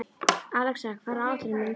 Alexa, hvað er á áætluninni minni í dag?